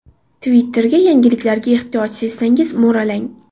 Twitter’ga yangiliklarga ehtiyoj sezsangiz mo‘ralang.